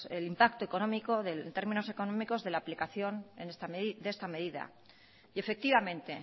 el impacto económico en términos económicos de la aplicación de esta medida y efectivamente